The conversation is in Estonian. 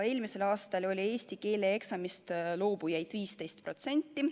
Eelmisel aastal oli eesti keele eksamist loobujaid 15%.